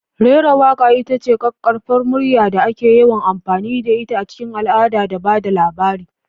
Rera waƙa ita ce ƙaƙƙarfan murya da ake yawan amfani da ita a cikin al'ada da ba da labari.